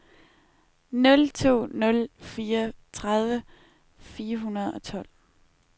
nul to nul fire tredive fire hundrede og tolv